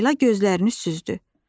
Leyla gözlərini süzdü.